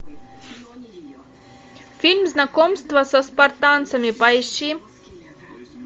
фильм знакомство со спартанцами поищи